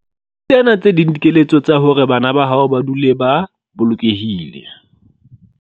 Tsena tse ding dikeletso tsa hore bana ba hao ba dule ba bolokehile.